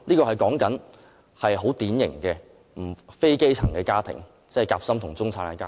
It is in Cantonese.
我指的是很典型的非基層家庭，即"夾心"和中產家庭。